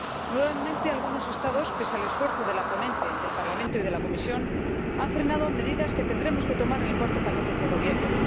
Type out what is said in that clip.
Nuevamente, algunos Estados, pese al esfuerzo de la ponente, del Parlamento y de la Comisión, han frenado medidas que tendremos que tomar en el cuarto paquete ferroviario.